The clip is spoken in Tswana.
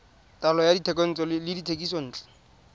taolo ya dithekontle le dithekisontle